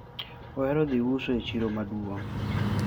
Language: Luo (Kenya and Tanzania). ohero dhi uso e chiro maduong